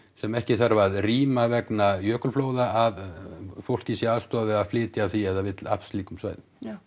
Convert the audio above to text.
sem ekki þarf að rýma vegna að fólkið sé aðstoðað við að flytja af því ef það vill af slíkum svæðum já